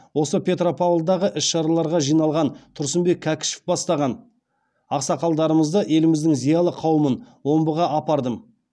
осы петропавлдағы іс шараларға жиналған тұрсынбек кәкішев бастаған ақсақалдарымызды еліміздің зиялы қауымын омбыға апардым